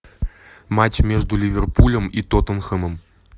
матч между ливерпулем и тоттенхэмом